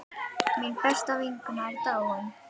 Mín besta vinkona er dáin.